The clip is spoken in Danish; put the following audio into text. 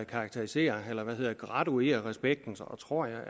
karakterisere eller graduere respekten tror jeg